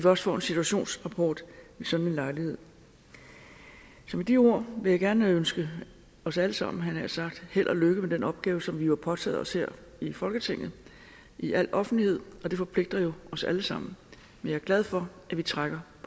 også får en situationsrapport ved sådan en lejlighed med de ord vil jeg gerne ønske os alle sammen havde jeg nær sagt held og lykke med den opgave som vi jo har påtaget os her i folketinget i al offentlighed og det forpligter jo os alle sammen jeg er glad for at vi trækker